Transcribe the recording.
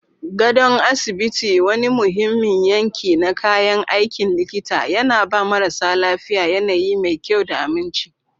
Gadon asibiti, wani muhimmin yanki na kayan aikin likita, yana ba marasa lafiya yanayi mai kyau da aminci.